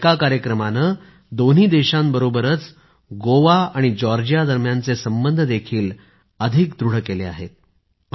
या एका कार्यक्रमाने दोन्ही देशांबरोबरच गोवा आणि जॉर्जिया दरम्यान संबंध देखील अधिक दृढ केले आहेत